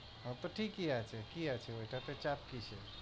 ও তো ঠিকই আছে কি আছে ওইটা তো চাকরি তো।